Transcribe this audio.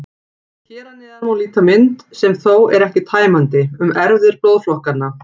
Hér að neðan má líta mynd, sem þó er ekki tæmandi, um erfðir blóðflokkanna.